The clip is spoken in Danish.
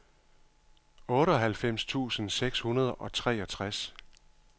otteoghalvfems tusind seks hundrede og treogtres